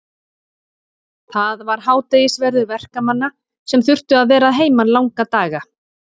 Það var hádegisverður verkamanna sem þurftu að vera að heiman langa daga.